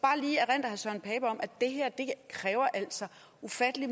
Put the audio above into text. altså kræver ufattelig